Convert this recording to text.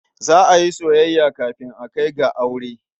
Za a yi soyayya kafin a kai ga aure.